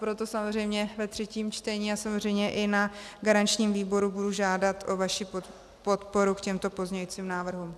Proto samozřejmě ve třetím čtení a samozřejmě i na garančním výboru budu žádat o vaši podporu k těmto pozměňujícím návrhům.